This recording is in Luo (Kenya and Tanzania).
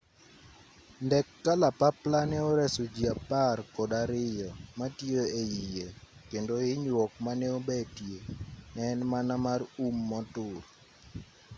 ndek kalapapla ne oreso ji apar kod ariyo matiyo eiye kendo hinyruok mane obetie ne en mana mar um motur